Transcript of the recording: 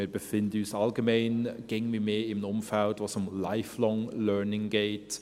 Wir befinden uns allgemein immer mehr in einem Umfeld, in dem es um Lifelong Learning geht.